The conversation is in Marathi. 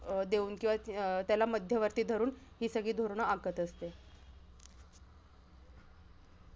अं देऊन किंवा त्याला मध्यवर्ती धरून हि सगळी धोरणं आखत असते.